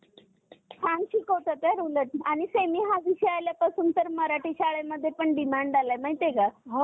अं वादळ वगैरे आहेत. तर अं ते अं त्यामुळे सुद्धा होतोय वातावरणात बदल, पण ते पण असं एक क्वचित वेळेतच, पण जे मानवनिर्मित बदल आहेत, मानवांमुळे जे